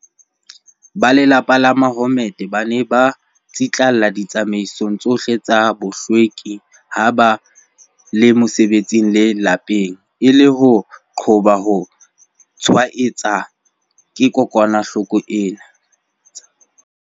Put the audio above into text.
Ba lelapa la Mahommed ba ne ba tsitlallela ditsamaiso tsohle tsa bohlweki ha ba le mosebetsing le lapeng, e le ho qoba ho tshwaetseha ke kokwanahloko ena.